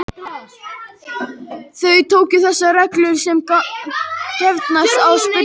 Þau tóku þessar reglur sem gefnar og spurðu einskis.